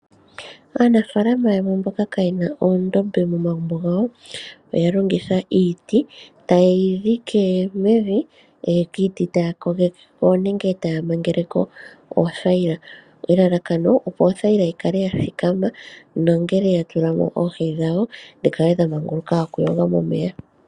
Aanafalama yamwe mboka kaayena omadhiya momagumbo gawo, oya longitha iiti tayeyi dhike mevi taga kogekeko oothayila elalakano opo othayila yi kale yathikama nongele yatula mo oohi dhawo dhi kale dhamanguluka oku yoga momeya.